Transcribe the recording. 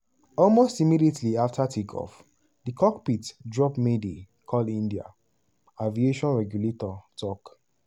almost immediately afta take-off di cockpit drop mayday call india aviation regulator tok.